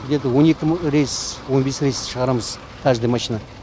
где то он екі ма рейс он бес рейс шығарамыз каждый машина